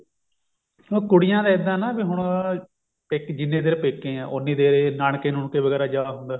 ਉਹ ਕੁੜੀਆਂ ਦਾ ਇੱਦਾਂ ਵੀ ਨਾ ਹੁਣ ਜਿੰਨੀ ਦੇਰ ਪੇਕੇ ਆਂ ਉੰਨੀ ਦੇਰ ਇਹ ਨਾਨਕੇ ਨੁਨਕੇ ਵਗੈਰਾ ਜਾ ਹੁੰਦਾ